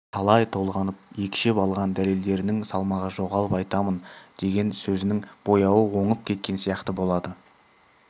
талай толғанып екшеп алған дәлелдерінің салмағы жоғалып айтамын деген сөзінің бояуы оңып кеткен сияқты болады